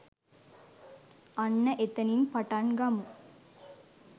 අන්න එතනින් පටං ගමු